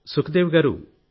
సుఖదేవి గారూ